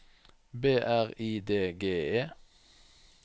B R I D G E